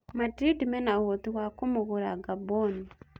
Madrindi mena ũhoti wa kũmũgũra Ngamboni?